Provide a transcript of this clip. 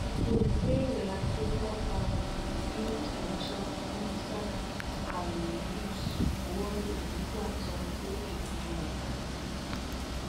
gbogbo ìbéèrè agbèfọba ni onídàájọ musa alyunus buwọ lù nígbà tó ń gbé ìpinnu rẹ kalẹ